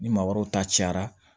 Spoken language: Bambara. Ni maa wɛrɛw ta cayara